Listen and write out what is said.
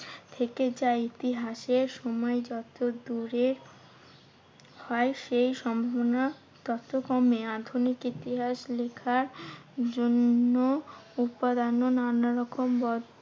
থেকে যায়। ইতিহাসের সময় যত দূরে হয় সেই সম্ভবনা তত কমে। আধুনিক ইতিহাস লেখার জন্য নানারকম